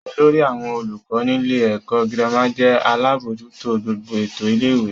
Olórí àwọn olùkọ́ nílé ẹ̀kọ́ girama jẹ́ alábójútó gbogbo ètò ilé-ìwé.